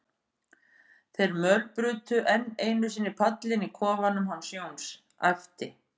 þeir mölbrutu enn einu sinni pallinn í kofanum hans Jóns, æpti